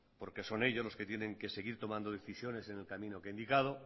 porque son ellos los que tienen que seguir tomando decisiones en el camino que he indicado